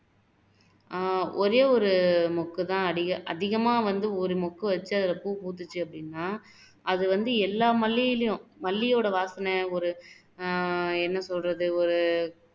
ஆஹ் ஒரே ஒரு முக்கு தான் வந்து அதிகமா ஒரு முக்கு வச்சு அதுல பூ பூத்துச்சு அப்படின்னா அது வந்து எல்லா மல்லியிலையும் மல்லியோட வாசனை ஒரு ஆஹ் என்ன சொல்றது ஒரு